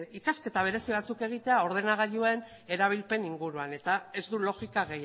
ikasketa berezi batzuk egitea ordenagailuen erabilpen inguruan eta ez du logika